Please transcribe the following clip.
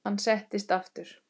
Hann settist aftur.